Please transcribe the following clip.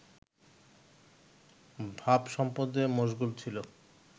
ভাবসম্পদে মশগুল ছিল